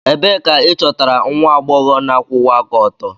Ebee ka ịchọtara nwa agbọghọ na-akwụwa aka ọtọ?